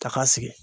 Taka sigi